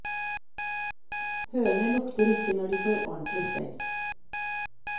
Høner lukter ikke når de får ordentlig stell.